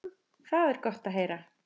Það er gott að heyra.